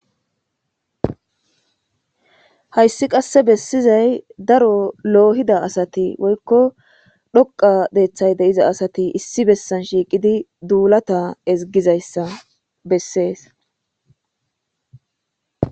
Hayssi qase besizay daro lohida asatti woyko dhoqqa deththa de'iza asatti issi bessan shiqidi dullata isgizayssa besses.